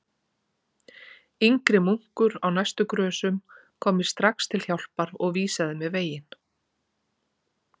Yngri munkur á næstu grösum kom mér strax til hjálpar og vísaði mér veginn.